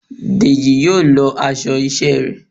Dejí yóò lọọ aṣọ iṣẹ ré